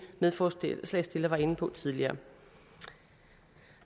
medforslagsstiller var inde på tidligere